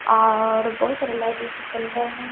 और बहुत सारे लाइट रहे है।